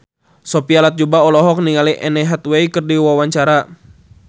Sophia Latjuba olohok ningali Anne Hathaway keur diwawancara